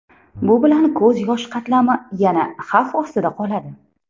Bu bilan ko‘z yosh qatlami yana xavf ostida qoladi.